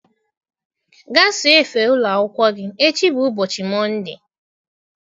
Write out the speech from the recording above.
Gaa saa efe ụlọ akwụkwọ gị, echi bụ ubochi Mọnde.